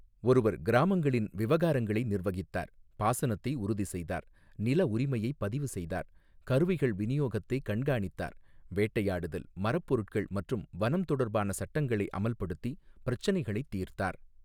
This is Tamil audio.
ஒருவர் கிராமங்களின் விவகாரங்களை நிர்வகித்தார், பாசனத்தை உறுதி செய்தார், நில உரிமையை பதிவு செய்தார், கருவிகள் விநியோகத்தை கண்காணித்தார், வேட்டையாடுதல், மரப் பொருட்கள் மற்றும் வனம் தொடர்பான சட்டங்களை அமல்படுத்தி, பிரச்சினைகளைத் தீர்த்தார்.